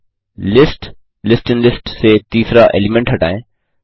1लिस्ट list in list से तीसरा element हटायें